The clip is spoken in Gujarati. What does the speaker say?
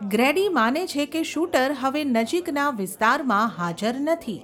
ગ્રેડી માને છે કે શૂટર હવે નજીકના વિસ્તારમાં હાજર નથી.